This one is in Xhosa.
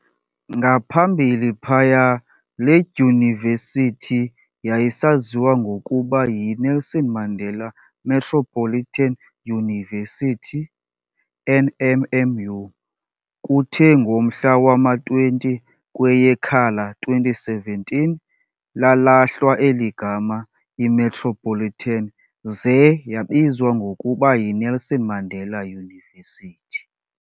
Ngaphambili phaya leDyunivesithi yayisaziwa ngokuba yi Nelson Mandela Metropolitan University, NMMU, kuthe ngomhla wama 20 kweyeKhala 2017 lalahlwa eligama i-Metropolitan zee yabizwa ngokuba yi Nelson Mandela University.